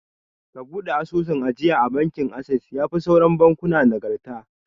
Ka buɗe asusun ajiya a bankin assess, yafi sauran bankuna nagarta